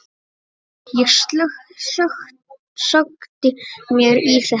Ég sökkti mér í þetta.